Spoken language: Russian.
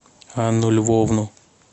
анну львовну